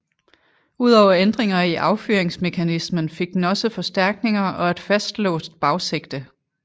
Ud over ændringer i affyringsmekanismen fik den også forstærkninger og et fastlåst bagsigte